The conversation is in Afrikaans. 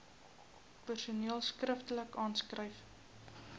persoon skriftelik aanskryf